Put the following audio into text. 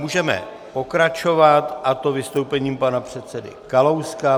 Můžeme pokračovat, a to vystoupením pana předsedy Kalouska.